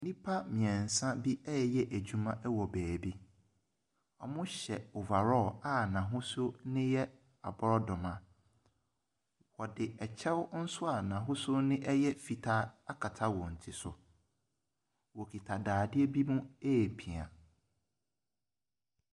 Nnipa mmiɛnsa bi ɛreyɛ adwuma wɔ baabi. Ɔhyɛ overall a n'ahosuo no yɛ aborɔdwoma. Ɔde ɛkyɛw nso a n'ahosuo ɛyɛ fitaa akata wɔn ti. Ɔkuta dadea bi mu ɛrepia.